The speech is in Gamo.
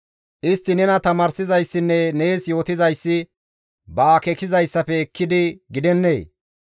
Istti nees tamaarsizayssinne nees yootizayssi ba akeekizayssafe ekkidi gidennee?